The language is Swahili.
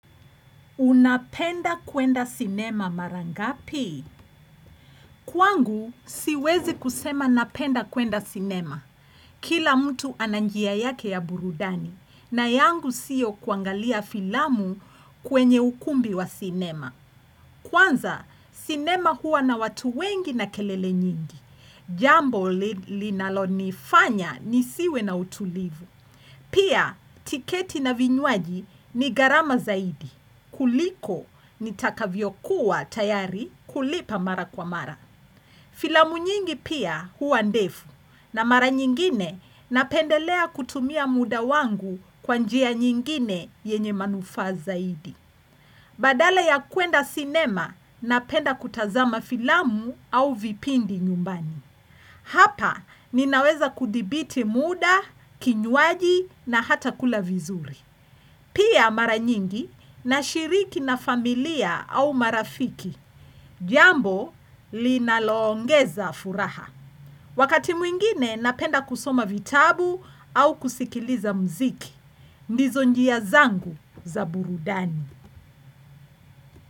Unapenda kwenda sinema mara ngapi? Kwangu siwezi kusema napenda kwenda sinema. Kila mtu ana njia yake ya burudani na yangu sio kuangalia filamu kwenye ukumbi wa sinema. Kwanza sinema huwa na watu wengi na kelele nyingi. Jambo linalo nifanya nisiwe na utulivu. Pia tiketi na vinywaji ni gharama zaidi. Kuliko ni takavyo kuwa tayari kulipa mara kwa mara. Filamu nyingi pia huwa ndefu na mara nyingine napendelea kutumia muda wangu kwa njia nyingine yenye manufaa zaidi. Badala ya kuenda cinema napenda kutazama filamu au vipindi nyumbani. Hapa ninaweza kudhibiti muda, kinywaji na hata kula vizuri. Pia mara nyingi nashiriki na familia au marafiki, jambo linaloongeza furaha. Wakati mwingine napenda kusoma vitabu au kusikiliza mziki, ndizo njia zangu za burudani.